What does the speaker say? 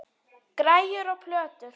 Græjur og plötur.